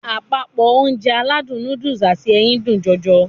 Àdàpọ̀ Ounjẹ aládùn nóódùsì àti ẹyin dùn jọjọ